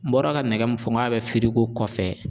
N bɔra ka nɛgɛ min fɔ n k'a bi kɔfɛ